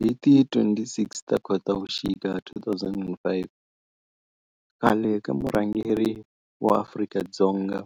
Hi ti 26 Khotavuxika 2005 khale ka murhangeri wa Afrika-Dzonga